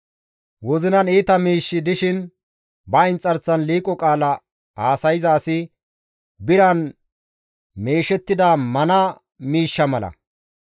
Wozinan iita miishshi dishin, ba inxarsan liiqo qaala haasayza asi biran meeshettida mana miishsha mala.